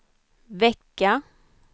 vecka